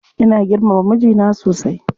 Ina girmama mijina sosai.